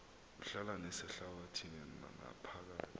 uhlala nasehlabathini naphakathi